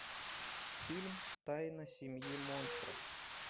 фильм тайна семьи монстров